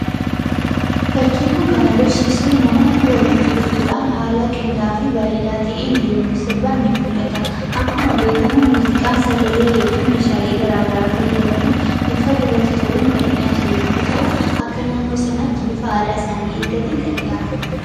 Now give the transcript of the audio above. Fakkiin kun kan agarsiisu namoonni walitti dhufuudhaan haala qinda'aa fi bareedaa ta'een yemmuu sirban ni mul'ata. Akkuma beekamu muuziqaan sagalee yookiin meeshaalee garaa garaa fayyadamuun bifa gurratti toluun kan dhihaatu yemmuu ta'u, akka naannoo sanaatti bifa aadaa isaanii eeggateen kan dhihaatuudha.